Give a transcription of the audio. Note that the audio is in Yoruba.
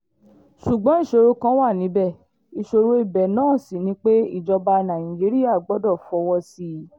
ṣùgbọ́n ìṣòro kan wà níbẹ̀ ìṣòro ibẹ̀ ná sí ni pé ìjọba nàìjíríà gbọ́dọ̀ fọwọ́ sí i